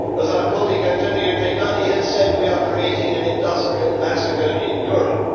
As our colleague Antonio Tajani has said, we are creating an industrial massacre in Europe.